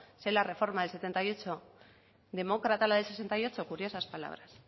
si es la reforma del sesenta y ocho demócrata la del sesenta y ocho curiosas palabras